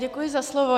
Děkuji za slovo.